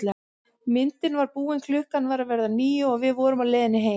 Myndin var búin, klukkan var að verða níu og við vorum á leiðinni heim.